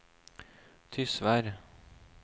Tysvær